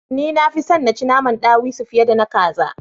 Ni nafi son na ci naman ɗawisu fiye da na kaza